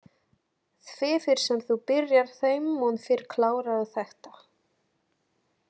Því fyrr sem þú byrjar þeim mun fyrr klárarðu þetta